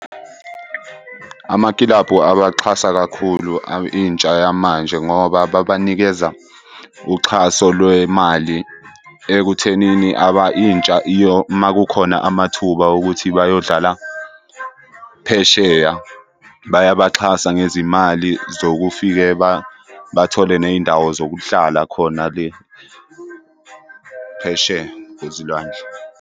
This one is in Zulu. Amakilabhu abaxhasa kakhulu intsha yamanje ngoba babanikeza uxhaso lwemali ekuthenini intsha uma kukhona amathuba okuthi bayodlala phesheya bayabaxhasa ngezimal zokufike bathole ney'ndawo zokuhlala khona le phesheya kwezilwandle.